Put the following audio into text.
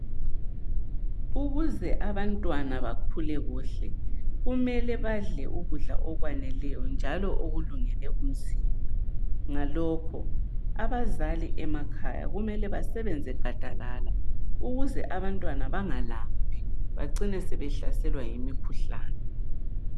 ukuze abantwana bakhule kuhle kumele badle ukudla okwaneleyo njalo okulungele umzimba ngalokho abazali emakhaya kumele basebenzegadalala ukuze abantwana bengalambi bacine behlaselwa yimikhuhlane